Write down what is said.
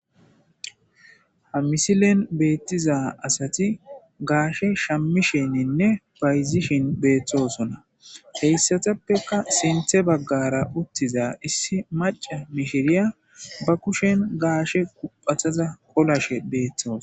Ha misilen beettiza asati gaashe shammishininne payzishin beeththosona heyssateppeka sinthe baggara uttiza issi maca mishiriya ba kushen gaashe kuphataza qolashe beeththosa.